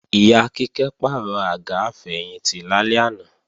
Ìyá Kíkẹ́ pàrọ̀ àga àfẹ̀yìntì lálẹ́ àná